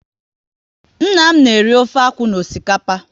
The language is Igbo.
Nna m na eri ofe akwụ na osikapa